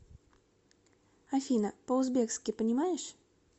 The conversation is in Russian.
афина по узбекски понимаешь